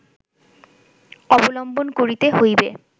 অবলম্বন করিতে হইবে